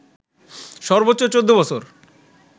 সর্বোচ্চ ১৪ বছর